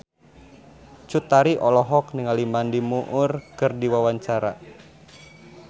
Cut Tari olohok ningali Mandy Moore keur diwawancara